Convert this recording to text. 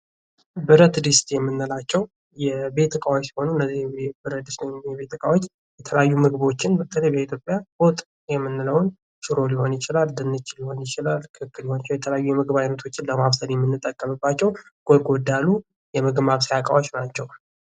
ብረት ድስት የምንላቸው የቤት እቃዎች ሆኑ እነዚህ ብረት ድስት የሆኑ የቤት ዕቃዎች የተለያዩ የተለያዩ ምግቦችን በተለይ ለኢትዮጵያ ወጥ የምንለው ሽሮ ሊሆን ይችላል ድንች ሊሆን ይችላል ክክ ሊሆን ይችላል የተለያዩ የምግብ ኣይነቶችን ለማብሰል የምንጠቀምባቸው ጎርጎድ ያሉ የምግብ ማብሰያ እቃዎች ናቸው ::